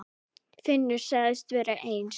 Finnur sagðist vera eins.